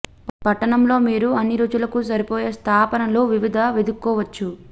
పట్టణం లో మీరు అన్ని రుచులకు సరిపోయే స్థాపనలు వివిధ వెదుక్కోవచ్చు